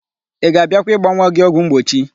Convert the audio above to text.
Ị ga-abịakwa ịgba nwa gị ọgwụmgbochi?